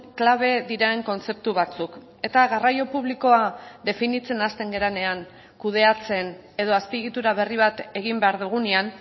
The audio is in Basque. klabe diren kontzeptu batzuk eta garraio publikoa definitzen hasten garenean kudeatzen edo azpiegitura berri bat egin behar dugunean